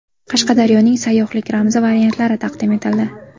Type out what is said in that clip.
Qashqadaryoning sayyohlik ramzi variantlari taqdim etildi.